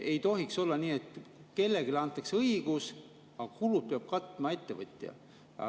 Ei tohiks olla nii, et kellelegi antakse õigus, aga kulud peab katma ettevõtja.